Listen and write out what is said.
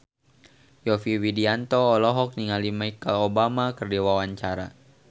Yovie Widianto olohok ningali Michelle Obama keur diwawancara